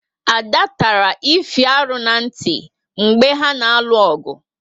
Ada tara Ify arụ na nti mgbe ha na arụ ogu